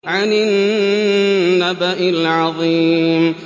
عَنِ النَّبَإِ الْعَظِيمِ